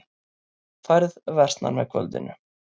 Færð versnar með kvöldinu